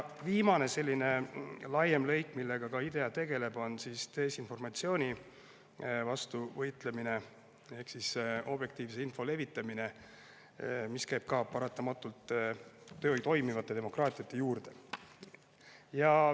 Viimane selline laiem lõik, millega IDEA tegeleb, on desinformatsiooni vastu võitlemine ehk objektiivse info levitamine, mis ka paratamatult käib toimiva demokraatia juurde.